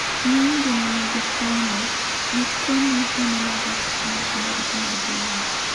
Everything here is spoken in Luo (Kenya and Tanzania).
Ng'eny joma nigi tuwono, gikone neno marach ahinya kendo retinagi wuok.